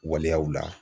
Waleyaw la